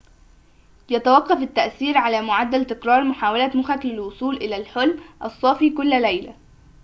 يتوقّف التأثير على معدّل تكرار محاولة مخّك للوصول إلى الحُلم الصافِ كل ليلة